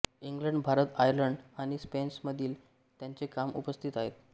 England Bharat Ireland आणि स्पेनमध्येही त्याची कामे उपस्थित आहेत